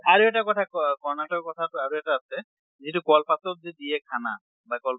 আৰু এটা কথা ক কৰ্ণাটকৰ কথা আৰু এটা আছে যিটো কল পাতেত যে দিয়ে খানা বা কল